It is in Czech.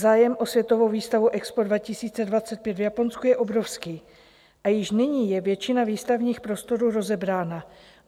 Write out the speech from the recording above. Zájem o světovou výstavu EXPO 2025 v Japonsku je obrovský a již nyní je většina výstavních prostorů rozebrána.